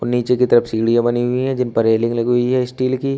ओ नीचे की तरफ सीढ़ियां बनी हुई है जिन पर रेलिंग लगी हुई है स्टील की।